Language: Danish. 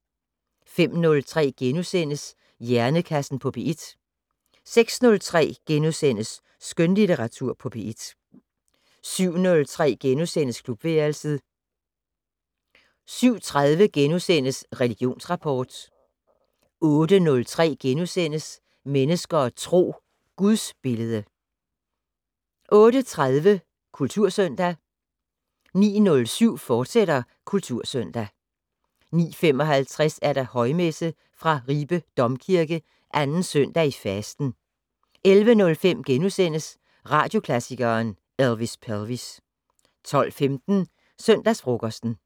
05:03: Hjernekassen på P1 * 06:03: Skønlitteratur på P1 * 07:03: Klubværelset * 07:30: Religionsrapport * 08:03: Mennesker og Tro: Gudsbillede * 08:30: Kultursøndag 09:07: Kultursøndag, fortsat 09:55: Højmesse - fra Ribe Domkirke. 2. søndag i fasten. 11:05: Radioklassikeren: Elvis Pelvis * 12:15: Søndagsfrokosten